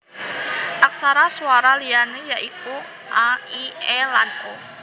Aksara swara liyané ya iku a i é lan o